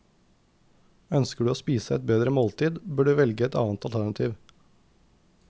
Ønsker du å spise et bedre måltid, bør du velge et annet alternativ.